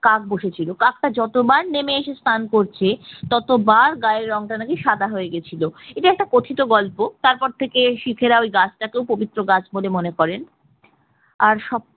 কাক বসেছিল কাকটা যতবার নেমে এসে স্নান করছে ততবার গায়ের রংটা নাকি সাদা হয়ে গিয়েছিল, এটা একটা কথিত গল্প তারপর থেকে শিক্ এ রা ওই গাছটাকে পবিত্র গাছ বলে মনে করে, আর সব